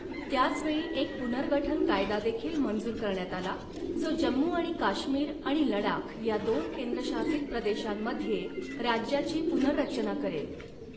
त्याच वेळी, एक पुनर्गठन कायदा देखील मंजूर करण्यात आला, जो जम्मू आणि काश्मीर आणि लडाख या दोन केंद्रशासित प्रदेशांमध्ये राज्याची पुनर्रचना करेल.